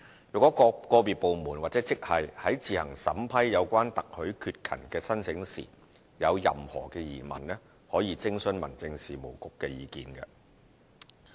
如果個別部門或職系在自行審批有關特許缺勤的申請時有任何疑問，可以徵詢民政事務局的意見。